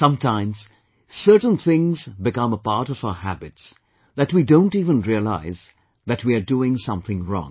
Sometimes certain things become a part of our habits, that we don't even realize that we are doing something wrong